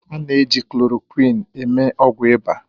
A na-eji klorokwịn eme ọgwụ ịba